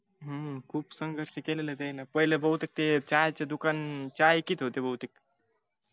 हूं खूप संघर्ष केलाय त्यांनी पहिला बहुतेक चहा चे दुकान चहा विकत होते बहुतेक हा होना आधी चहाची टपरी का काय चालवयाचे वाटत हूम